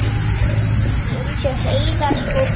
í umsjá Heiðars og Péturs.